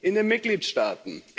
In den Mitgliedstaaten.